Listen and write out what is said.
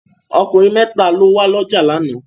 Okùnrin mẹ́tà ló wá ọjà lánàá.